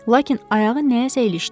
Lakin ayağı nəyəsə ilişdi.